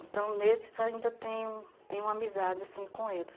Então, nesses ainda tenho tenho amizade sim, com eles.